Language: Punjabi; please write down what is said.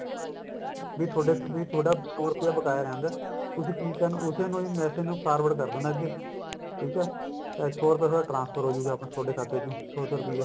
ਵੀ ਥੋਡਾ ਵੀ ਥੋਡਾ ਸੋ ਰੂਪਏ ਬਕਾਇਆ ਰਹਿੰਦਾ ਤੁਸੀਂ ਕਿ ਕਰਨਾ use ਹੀ message ਨੂੰ forward ਕਰਦੇਣਾ ਅੱਗੇ ਠੀਕ ਐ ਤੇ ਸੋ ਰੁਪਿਆ transfer ਹੋਜੂਗਾ ਥੋਡੇ ਖਾਤੇ ਚੋ ਸੋ ਸੋ ਰੁਪਿਆ